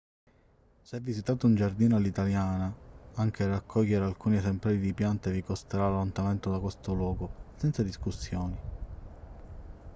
se visitate un giardino all'italiana anche raccogliere alcuni esemplari di piante vi costerà l'allontanamento da questo luogo senza discussioni